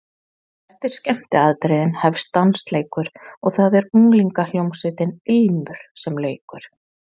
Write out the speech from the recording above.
Eftir skemmtiatriðin hefst dansleikur og það er unglingahljómsveitin Ilmur sem leikur.